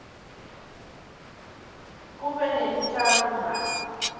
kube nelutjalo mali